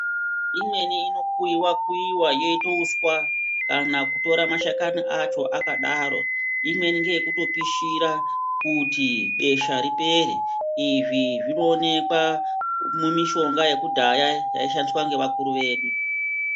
Imweni inokuyiwa kuyiwa yoite uswa kana kutoa mashakani qcho akadaro imweni ngeyekutopishira kuti besha ripere izvi zvinoonekwa mumishonga yekudhaya yaishandiswa nevakuru vedu.